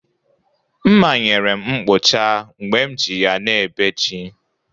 Mma nyere m mkpụcha mgbe m ji ya na ebe ji.